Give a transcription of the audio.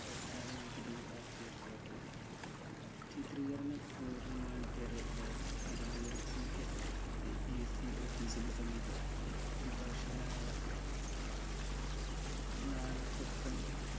വച്ചാണ് വികതകുമാരൻ പൂർത്തിയാക്കിയത് ചിത്രീകരണം പൂർണമായും കേരളത്തിലായിരുന്നു തിരുവനന്തപുരം PSPSCoffice നു സമീപം വിഭാഷകനായ നാഗപ്പൻ